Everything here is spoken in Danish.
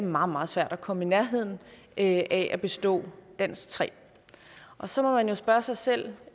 meget meget svært at komme i nærheden af at bestå dansk tredje så må man jo spørge sig selv